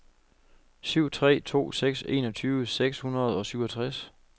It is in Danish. syv tre to seks enogtyve seks hundrede og syvogtres